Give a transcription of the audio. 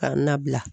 Ka na bila